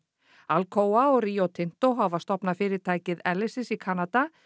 Alcoa og Rio Tinto hafa stofnað fyrirtækið Elysis í Kanada